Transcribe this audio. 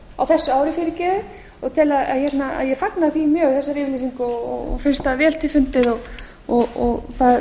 á þessu ári og ég fagna þessari yfirlýsingu mjög og finnst það vel til fundið og það